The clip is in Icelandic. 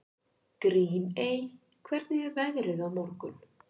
Grímey, hvernig er veðrið á morgun?